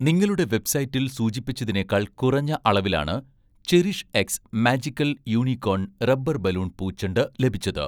നിങ്ങളുടെ വെബ്‌സൈറ്റിൽ സൂചിപ്പിച്ചതിനേക്കാൾ കുറഞ്ഞ അളവിലാണ് 'CherishX magical unicorn' rubber balloon പൂച്ചെണ്ട് ലഭിച്ചത്